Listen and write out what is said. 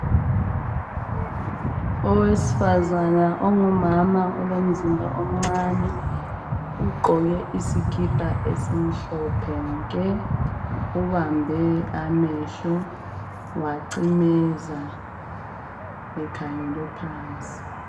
Owesifazana ongumama olomzimba omncani ugqoke isikipa esimhlophe nke, ubambe amehlo wacimeza ekhangele phansi.